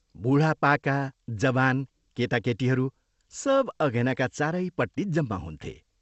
बूढापाका, जवान, केटाकेटीहरू सब अघेनाका चारैपट्टि जम्मा हुन्थे।